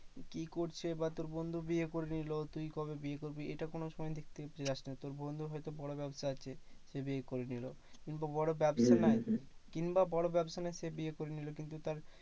কি করছে? বা তোর বন্ধু বিয়ে করে নিলো। তুই কবে বিয়ে করবি? এটা কোনোসময় দেখতে যাস না। তোর বন্ধুর হয়তো বড় ব্যাবসা আছে সে বিয়ে করে নিলো কিংবা বড় ব্যাবসা নাই কিংবা বড় ব্যাবসা নাই সে বিয়ে করে নিলো। কিন্তু তার